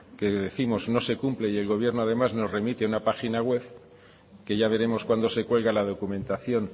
que décimos no se cumple y el gobierno además nos remite a una página web que ya veremos cuándo se cuelga la documentación